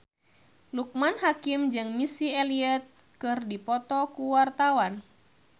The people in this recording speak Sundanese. Loekman Hakim jeung Missy Elliott keur dipoto ku wartawan